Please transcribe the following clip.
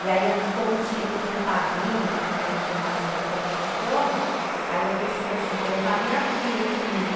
E aí, como tinha que ter um padrinho, que na hora que chamasse para entregar o diploma, aí eu pensei assim, eu vou levar a minha filha comigo.